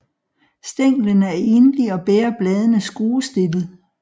Stænglen er enlig og bærer bladene skruestillet